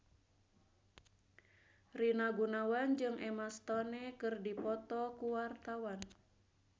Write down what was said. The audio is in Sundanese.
Rina Gunawan jeung Emma Stone keur dipoto ku wartawan